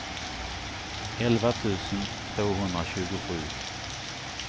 elva tusen tvåhundratjugosju